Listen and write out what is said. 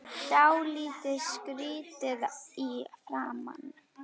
Dálítið skrýtin í framan.